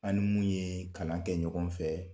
An ni mun ye kalan kɛ ɲɔgɔn fɛ